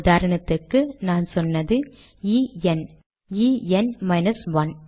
உதாரணத்துக்கு நான் சொன்னது N N minus 1